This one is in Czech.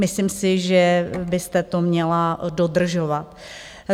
Myslím si, že byste to měla dodržovat.